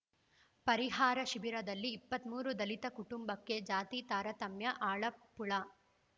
ಪರಿಹಾರ ಶಿಬಿರದಲ್ಲಿ ಇಪ್ಪತ್ತ್ ಮೂರು ದಲಿತ ಕುಟುಂಬಕ್ಕೆ ಜಾತಿ ತಾರತಮ್ಯ ಅಳಪ್ಪುಳ